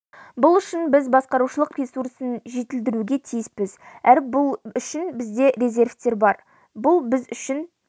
бұл үшін біз басқарушылық ресурсын жетілдіруге тиіспіз әрі бұл үшін бізде резервтер бар бұл біз үшін